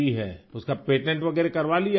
اس کا پیٹنٹ وغیرہ کروا لیا